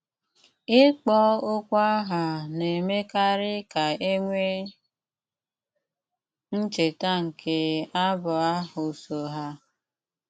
Íkpọ́ okwu áhá ná-émékarí ká é nwéé ncheta nké abụ áhụ́ só há.